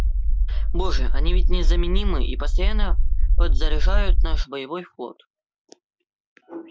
боже они ведь незаменимы и постоянно подзаряжают наш боевой флот